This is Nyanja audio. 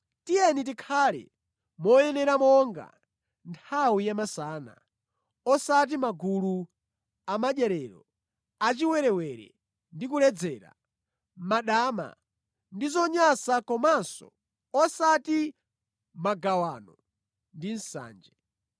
Tiyeni tikhale moyenera monga nthawi ya masana, osati mʼmagulu amadyerero, achiwerewere ndi kuledzera, mʼmadama ndi zonyansa komanso osati mʼmagawano ndi nsanje.